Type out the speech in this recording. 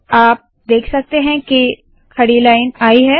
आप देख सकते है के खड़ी लाइन आई है